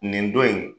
Nin don in